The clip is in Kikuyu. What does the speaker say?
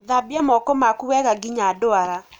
Thambia moko maku wega nginya ndwara.